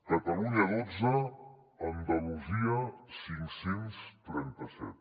catalunya dotze andalusia cinc cents i trenta set